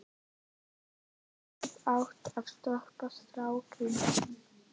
Hann hefði átt að stoppa strákinn.